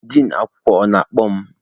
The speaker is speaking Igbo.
Din akwụkwọ, ọ na-akpọ mụ?